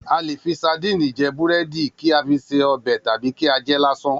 A lè fi sadíìnì je̩ búré̩dì, kí a fi sí o̩bè̩ tàbí kí á je̩ é̩ lásán